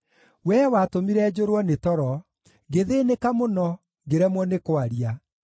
Wee watũmire njũrwo nĩ toro, ngĩthĩĩnĩka mũno, ngĩremwo nĩ kwaria.